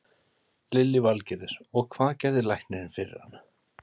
Lillý Valgerður: Og, hvað gerði læknirinn fyrir hana?